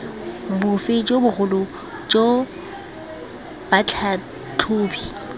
bofe jo bogolo jo batlhatlhobi